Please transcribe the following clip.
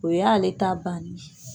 O y'ale ta bannen ye.